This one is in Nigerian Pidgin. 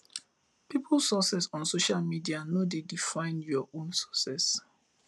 peoples success on social media no dey define your own success